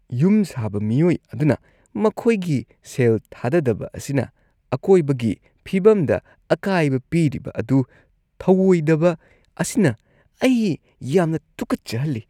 ꯌꯨꯝ ꯁꯥꯕ ꯃꯤꯑꯣꯏ ꯑꯗꯨꯅ ꯃꯈꯣꯏꯒꯤ ꯁꯦꯜ ꯊꯥꯗꯗꯕ ꯑꯁꯤꯅ ꯑꯀꯣꯏꯕꯒꯤ ꯐꯤꯚꯝꯗ ꯑꯀꯥꯏꯕ ꯄꯤꯔꯤꯕ ꯑꯗꯨ ꯊꯧꯑꯣꯏꯗꯕ ꯑꯁꯤꯅ ꯑꯩ ꯌꯥꯝꯅ ꯇꯨꯀꯠꯆꯍꯜꯂꯤ꯫